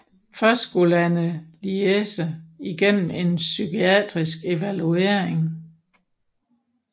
Først skulle Anneliese igennem en psykiatrisk evaluering